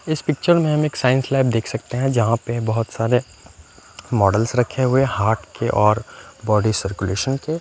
इस पिक्चर में हम एक साइंस लैब देख सकते हैं। जहां पे बहोत सारे मॉडलस रखे हुए हाथ के और बॉडी सरकुलेशन के--